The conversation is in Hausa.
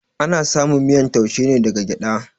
Ana samun miyan taushe ne daga gyada